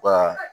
Wa